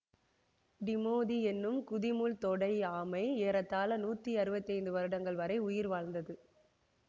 Timothy என்னும் குதிமுள்தொடை ஆமை ஏறத்தாழ நூற்றி அறுபத்தி ஐந்து வருடங்கள் வரை உயிர் வாழ்ந்தது